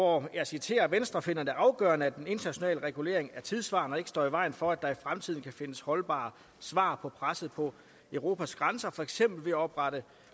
og jeg citerer venstre finder det dog afgørende at den internationale regulering er tidssvarende og ikke står i vejen for at der i fremtiden kan findes holdbare svar på presset på europas grænser for eksempel ved oprettelse